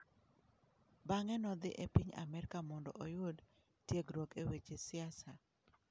Bang'e nodhi e piny Amerka mondo oyud tiegruok e weche siasa.